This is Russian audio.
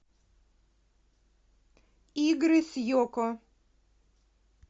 игры с йоко